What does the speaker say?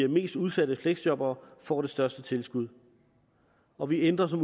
mest udsatte fleksjobbere får det største tilskud og vi ændrer som